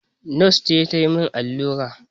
Nos ce ta yi min allura